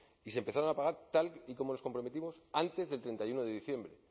y se empezaron a pagar tal y como nos comprometimos antes del treinta y uno de diciembre